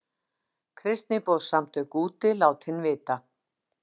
Kristniboðssamtök úti látin vita